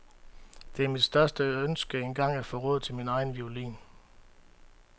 Det er mit største ønske engang at få råd til min egen violin.